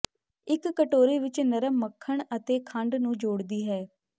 ਇੱਕ ਕਟੋਰੇ ਵਿਚ ਨਰਮ ਮੱਖਣ ਅਤੇ ਖੰਡ ਨੂੰ ਜੋੜਦੀ ਹੈ